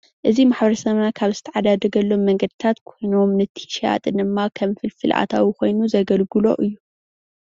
እዚ ማሕበረሰብና ካብ ዝትዓዳደገሎም መንገድታት ኮይኑ ነቲ ሸያጢ ድማ ከም ፍልፍል ኣታዊ ኮይኑ ዘገልግሎ እዩ፡፡